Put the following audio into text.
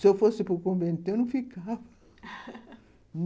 Se eu fosse para o convento, eu não ficava